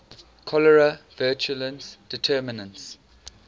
cholerae virulence determinants